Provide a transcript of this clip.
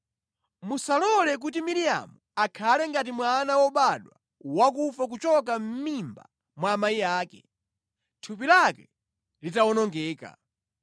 Musalole kuti Miriamu akhale ngati mwana wobadwa wakufa kuchoka mʼmimba mwa amayi ake, thupi lake litawonongeka.”